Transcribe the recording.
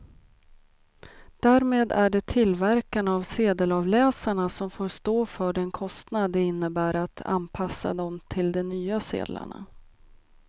Därmed är det tillverkarna av sedelavläsarna som får stå för den kostnad det innebär att anpassa dem till de nya sedlarna.